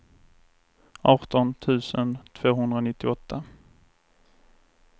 arton tusen tvåhundranittioåtta